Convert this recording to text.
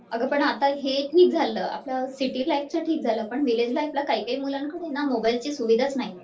अगं पण आता हे ठिक झालं. आता सिटी लाईफच ठिक झाल पण व्हिलेज लाईफला काही काही मुलांकडे ना मोबाईल ची सुविधा च नाहीये